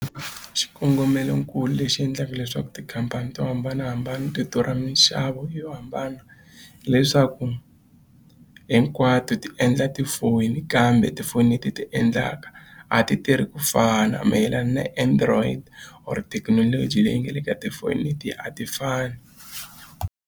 Xikongomelonkulu lexi endlaka leswaku tikhampani to hambanahambana ti durha minxavo yo hambana hileswaku hinkwato ti endla tifoyini kambe tifoni leti ti endlaka a ti tirhi ku fana mayelana na Android or thekinoloji leyi nga le ka tifoni leti a ti fani.